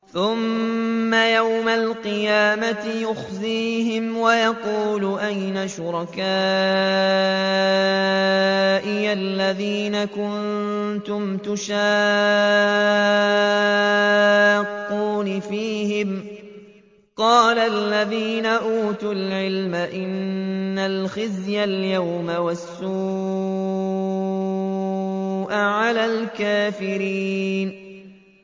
ثُمَّ يَوْمَ الْقِيَامَةِ يُخْزِيهِمْ وَيَقُولُ أَيْنَ شُرَكَائِيَ الَّذِينَ كُنتُمْ تُشَاقُّونَ فِيهِمْ ۚ قَالَ الَّذِينَ أُوتُوا الْعِلْمَ إِنَّ الْخِزْيَ الْيَوْمَ وَالسُّوءَ عَلَى الْكَافِرِينَ